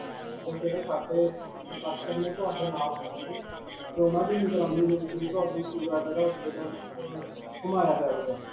ਜਾਂ ਜਿਹੜੇ ਸਾਡੇ ਅਅ worker ਨੇ ਉਹ ਆਪਦੇ ਨਾਲ ਹੋਣਗੇ 'ਤੇ ਉਨ੍ਹਾਂ ਦੀ ਨਿਗਰਾਨੀ ਦੇ ਵਿਚ ਘੁਮਾਇਆ ਜਾਵੇਗਾ.